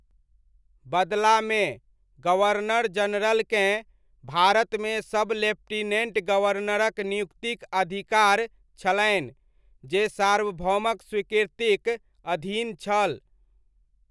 बदलामे, गवर्नर जनरलकेँ, भारतमे सब लेफ्टिनेन्ट गवर्नरक नियुक्तिक अधिकार छलनि, जे सार्वभौमक स्वीकृतिक अधीन छल।